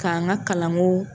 K'an ka kalanko